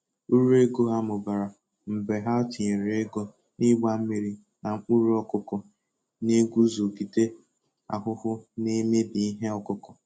Uruego ha mụbara mgbe ha tinyere ego n'igba mmiri na mkpụrụ ọkụkụ na-eguzogide ahụhụ n'emebi ihe ọkụkụ.